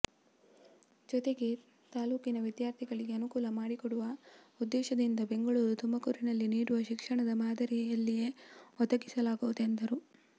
ಜೊತೆಗೆ ತಾಲ್ಲೂಕಿನ ವಿದ್ಯಾರ್ಥಿಗಳಿಗೆ ಅನುಕೂಲ ಮಾಡಿಕೊಡುವ ಉದ್ಧೇಶದಿಂದ ಬೆಂಗಳೂರು ತುಮಕೂರಿನಲ್ಲಿ ನೀಡುವ ಶಿಕ್ಷಣದ ಮಾದರಿಯಲ್ಲಿಯೇ ಒದಗಿಸಲಾವುದು ಎಂದರು